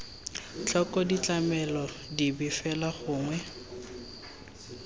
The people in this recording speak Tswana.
tlhoko ditlamelo dipe fela gongwe